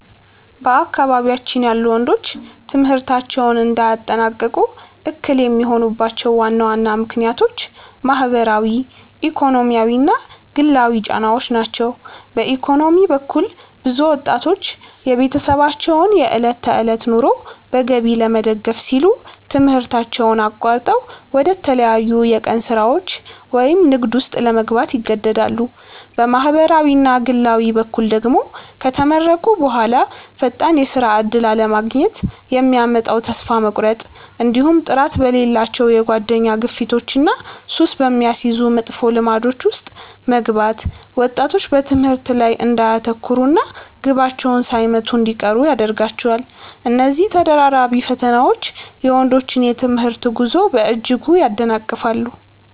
በአካባቢያችን ያሉ ወንዶች ትምህርታቸውን እንዳያጠናቅቁ እክል የሚሆኑባቸው ዋና ዋና ምክንያቶች ማኅበራዊ፣ ኢኮኖሚያዊና ግላዊ ጫናዎች ናቸው። በኢኮኖሚ በኩል፣ ብዙ ወጣቶች የቤተሰባቸውን የዕለት ተዕለት ኑሮ በገቢ ለመደገፍ ሲሉ ትምህርታቸውን አቋርጠው ወደ ተለያዩ የቀን ሥራዎች ወይም ንግድ ውስጥ ለመግባት ይገደዳሉ። በማኅበራዊና ግላዊ በኩል ደግሞ፣ ከተመረቁ በኋላ ፈጣን የሥራ ዕድል አለማግኘት የሚያመጣው ተስፋ መቁረጥ፣ እንዲሁም ጥራት በሌላቸው የጓደኛ ግፊቶችና ሱስ በሚያስይዙ መጥፎ ልማዶች ውስጥ መግባት ወጣቶች በትምህርታቸው ላይ እንዳያተኩሩና ግባቸውን ሳይመቱ እንዲቀሩ ያደርጋቸዋል። እነዚህ ተደራራቢ ፈተናዎች የወንዶችን የትምህርት ጉዞ በእጅጉ ያደናቅፋሉ።